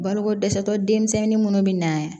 Baloko dɛsɛtɔ denmisɛnnin minnu bɛ na